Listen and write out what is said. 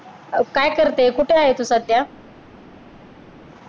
काय करतेस कुठे आहेस तू सध्या